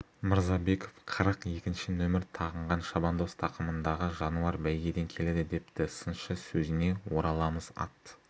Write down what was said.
мырзабеков қырық екінші нөмір тағынған шабандоз тақымындағы жануар бәйгеден келеді депті сыншы сөзіне ораламыз ат